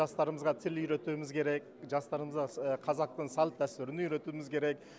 жастарымызға тіл үйретуіміз керек жастарымызға қазақтың салт дәстүрін үйретуіміз керек